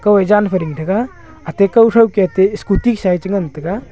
kauye zan phai ding taga ate kaw thai keh ate scooty sa ye chi ngan taiga.